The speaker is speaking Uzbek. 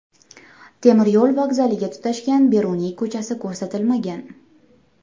Temiryo‘l vokzaliga tutashgan Beruniy ko‘chasi ko‘rsatilmagan.